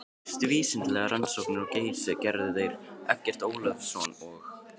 Fyrstu vísindalegar rannsóknir á Geysi gerðu þeir Eggert Ólafsson og